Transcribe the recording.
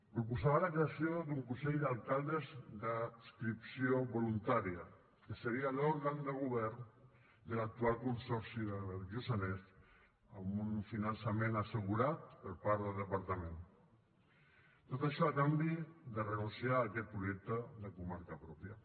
proposava la creació d’un consell d’alcaldes d’adscripció voluntària que seria l’òrgan de govern de l’actual consorci del lluçanès amb un finançament assegurat per part del departament tot això a canvi de renunciar a aquest projecte de comarca pròpia